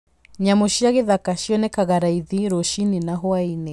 Nyamũ cia gĩthaka cionekaga raithi rũcinĩ na hwaĩ-inĩ.